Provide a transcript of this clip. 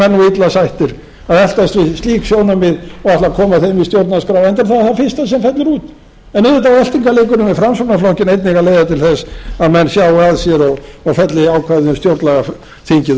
illa settir að eltast við slík sjónarmið og ætla að koma þeim í stjórnarskrá enda er það það fyrsta sem fellur út en auðvitað á eltingarleikurinn við framsóknarflokkinn að leiða til þess að menn sjái að sér og felli ákvæðið um stjórnlagaþingið